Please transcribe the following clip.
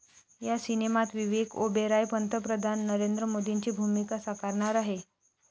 या सिनेमात विवेक ओबेरॉय पंतप्रधान नरेंद्र मोदींची भूमिका साकारणार आहे.